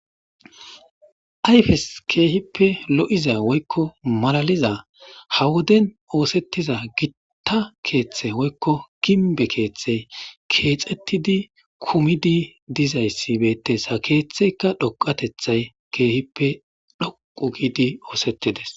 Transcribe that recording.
Ayfes keehippe lo'iza woykko malaliza ha woden oosettiza gitta keeththe woykko ginbe keeththey keexettidi kumidi dizayssi beettes ha keeththeyka dhoqatethay keehippe dhoqu giidi oosettides.